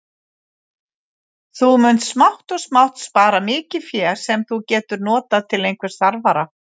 Þú munt smátt og smátt spara mikið fé, sem þú getur notað til einhvers þarfara.